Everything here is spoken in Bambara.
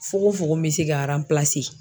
Foko fofo mɛ se ka